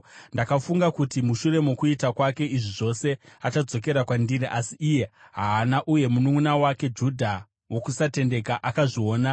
Ndakafunga kuti mushure mokuita kwake izvi zvose, achadzokera kwandiri asi iye haana, uye mununʼuna wake Judha wokusatendeka akazviona.